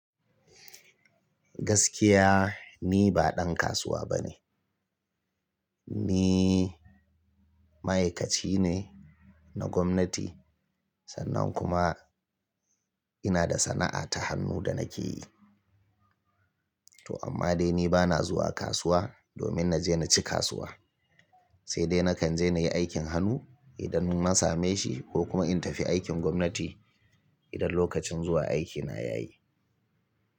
Gaskiya ni ba dan kasuwa bane. Ni ma'aikaci ne na gwamnati. Sannan kuma ina da sana'a ta hannu da nake yi. To amma dai ni bana zuwa kasuwa domin na je na ci kasuwa, sai dai nakan je na yi aikin hannu idan na same shi ko kuma in tafi aikin gwamnati idan lokacin zuwa aikina ya yi.